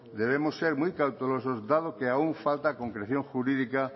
debemos ser muy cautelosos dado que aún falta concreción jurídica